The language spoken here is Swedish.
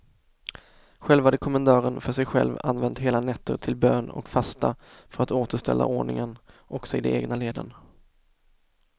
Själv hade kommendören för sig själv använt hela nätter till bön och fasta för att återställa ordningen också i de egna leden.